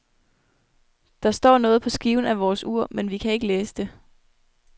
Der står noget på skiven af vores ur, men vi kan ikke læse det.